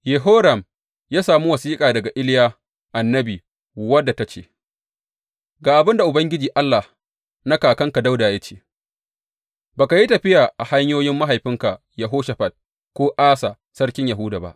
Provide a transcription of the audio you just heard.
Yehoram ya sami wasiƙa daga Iliya annabi, wadda ta ce, Ga abin da Ubangiji Allah na kakanka Dawuda ya ce, Ba ka yi tafiya a hanyoyin mahaifinka Yehoshafat ko Asa sarkin Yahuda ba.